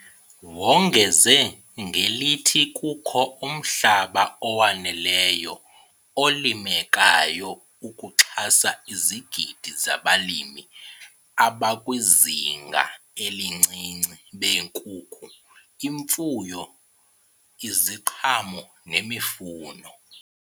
Wongeze ngelithi kukho umhlaba owaneleyo olimekayo ukuxhasa izigidi zabalimi abakwizinga elincinci beenkukhu, imfuyo, iziqhamo nemifuno.